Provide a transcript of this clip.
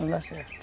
Não dá certo.